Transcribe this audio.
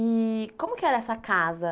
E como que era essa casa?